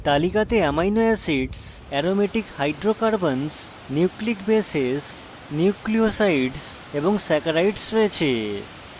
তালিকাকে amino acids aromatic hydrocarbons nucleic bases nucleosides এবং saccharides রয়েছে